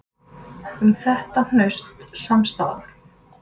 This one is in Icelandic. Um þetta hnaut samstaðan.